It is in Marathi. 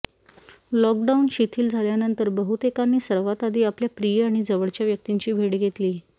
लॉकडाऊन शिथील झाल्यानंतर बहुतेकांनी सर्वात आधी आपल्या प्रिय आणि जवळच्या व्यक्तींची भेट घेतली